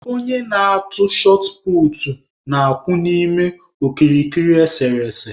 Onye na-atụ shọt puutu na-akwụ n'ime okirikiri esere ese.